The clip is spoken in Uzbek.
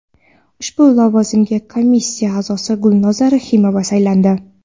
Ushbu lavozimga komissiya a’zosi Gulnoza Rahimova saylandi.